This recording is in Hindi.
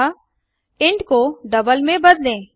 अतः इंट को डबल में बदलें